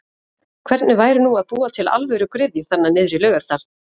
Hvernig væri nú að búa til alvöru gryfju þarna niðrí Laugardal?!!